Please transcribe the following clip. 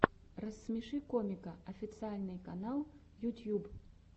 рассмеши комика официальный канал ютьюб